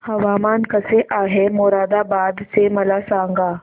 हवामान कसे आहे मोरादाबाद चे मला सांगा